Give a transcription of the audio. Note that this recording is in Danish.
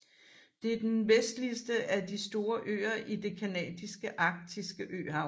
Det er den vestligste af de store øer i det canadiske arktiske øhav